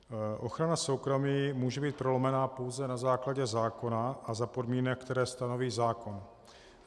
Ochrana soukromí může být prolomena pouze na základě zákona a za podmínek, které stanoví zákon.